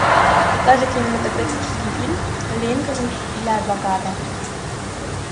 покажи кинематографический фильм линкольн для адвоката